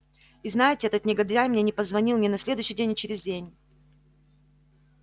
и знаете этот негодяй мне не позвонил ни на следующий день ни через день